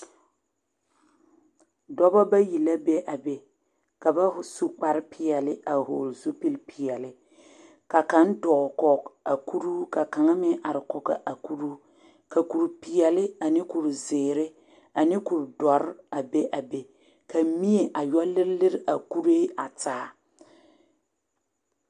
Dɔba bayi la be a be ka ba su kparpeɛle a hɔɔli zupilpeɛle ka kaŋ dɔɔ kɔɡe a kuruu ka kaŋ meŋ are kɔɡe a kuruu ka kurpeɛle ane kurziiri ane kurdɔre a be a be ka mie a yɔ lirilir a kuree taa.